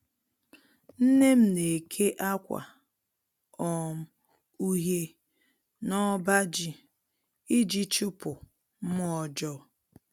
Nne m na-eke akwa um uhie n'ọbaji iji chụpụ mmụọ ọjọọ